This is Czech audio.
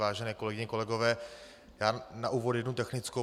Vážené kolegyně, kolegové, já na úvod jednu technickou.